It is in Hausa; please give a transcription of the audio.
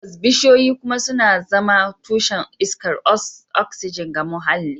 Tabbas, bishiyoyi kuma suna zama tushen iskar oxygen ga muhalli